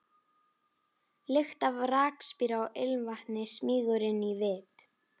Lykt af rakspíra og ilmvatni smýgur inn í vit